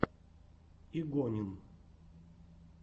игонин